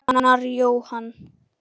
Ragnar Jóhann.